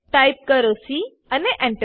type કરો C અને Enter